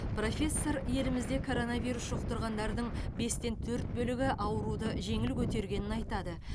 профессор елімізде коронавирус жұқтырғандардың бестен төрт бөлігі ауруды жеңіл көтергенін айтады